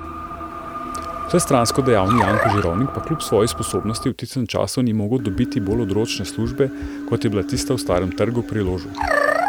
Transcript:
Vsestransko dejavni Janko Žirovnik pa kljub svoji sposobnosti v tistem času skoraj ni mogel dobiti bolj odročne službe kot je bila tista v Starem trgu pri Ložu.